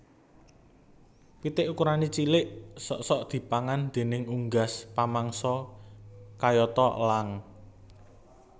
Pitik ukurané cilik sok sok dipangan déning unggas pamangsa kayata elang